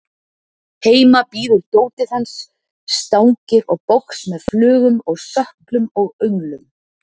Heima bíður dótið hans, stangir og box með flugum og sökkum og önglum.